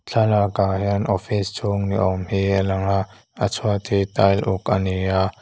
thlalak ah hian office chhung ni awm hi a lang a a chhuat hi tile uk ani a.